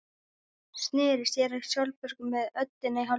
Sneri sér að Sólborgu með öndina í hálsinum.